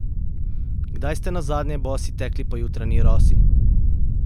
Kdaj ste nazadnje bosi tekli po jutranji rosi?